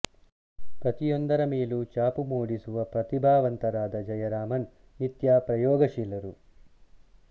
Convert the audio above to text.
ಪ್ರತಿಯೊಂದರ ಮೇಲೂ ಛಾಪು ಮೂಡಿಸುವ ಪ್ರತಿಭಾವಂತರಾದ ಜಯರಾಮನ್ ನಿತ್ಯ ಪ್ರಯೋಗಶೀಲರು